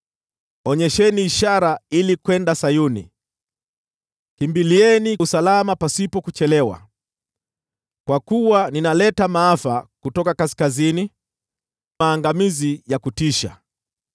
Onyesheni ishara ili kwenda Sayuni! Kimbilieni usalama pasipo kuchelewa! Kwa kuwa ninaleta maafa kutoka kaskazini, maangamizi ya kutisha.”